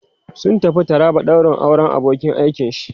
sun tafi taraba daurin auran abokin aikin shi